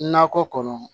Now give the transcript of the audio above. Nakɔ kɔnɔ